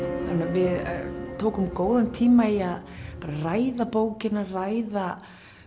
við tókum góðan tíma í að ræða bókina ræða